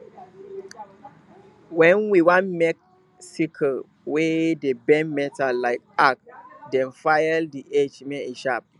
wen we want make sickle we dey bend metal like arc then file the edge make e sharp